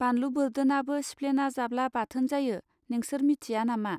बानलु बोर्दोनाबो सिफ्लोना जाब्ला बाथोन जायो! नेंसोर मिथिया नामा.